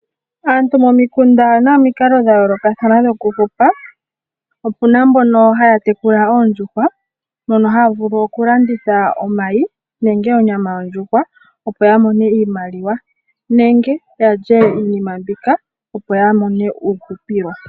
Aantu momikunda oye na omikalo dha yoolokathana dhokuhupa. Opu na mbono haya tekula oondjuhwa mono haya vulu okulanditha omayi nenge onyama yondjuhwa, opo ya mone iimaliwa nenge ya lye iinima mbika, opo ya mone uuhupilo.